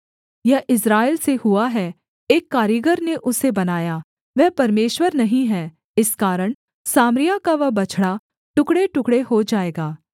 यह इस्राएल से हुआ है एक कारीगर ने उसे बनाया वह परमेश्वर नहीं है इस कारण सामरिया का वह बछड़ा टुकड़ेटुकड़े हो जाएगा